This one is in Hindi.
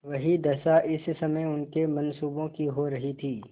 वही दशा इस समय उनके मनसूबों की हो रही थी